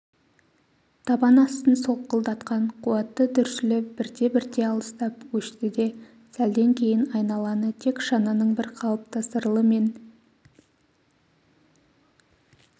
табан астын солқылдатқан қуатты дүрсілі бірте-бірте алыстап өшті де сәлден кейін айналаны тек шананың бір қалыпты сырылы мен